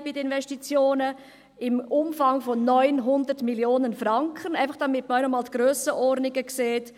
den Investitionen einen Peak im Umfang von 900 Mio. Franken haben, damit man einmal die Grössenordnungen sieht.